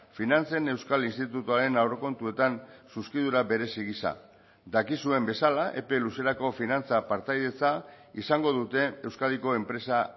finantzen euskal institutuaren aurrekontuetan zuzkidura berezi gisa dakizuen bezala epe luzerako finantza partaidetza izango dute euskadiko enpresa